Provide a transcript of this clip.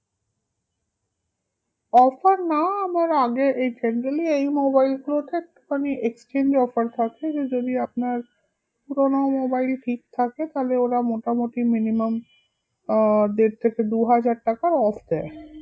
Offer না আমার আগে এই generally এই mobile গুলোতে একটু খানি exchange offer থাকে যে যদি আপনার পুরোনো mobile ঠিক থাকে তাহলে ওরা মোটামুটি minimum আহ দেড় থেকে দু হাজার টাকার off দেয়